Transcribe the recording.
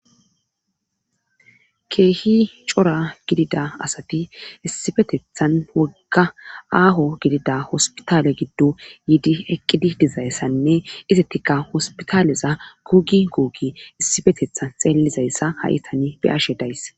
keehi cora gidida asati issippetethan wogga aaho gidida hospitale giddo yiidi eqqidi dizayssanne isatika hospitaaleza gugi gogii issippetetha xeellizayssa ha7itani beyashe days.